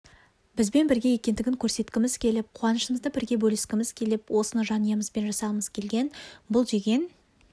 бізбен бірге екендігін көрсеткіміз келіп қуанышымызды бірге бөліскіміз келіп осыны жанұямызбен жасағымыз келген бұл деген